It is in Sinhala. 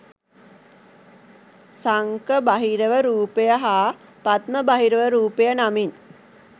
සංඛ බහිරව රූපය හා පද්ම බහිරව රූපය නමින්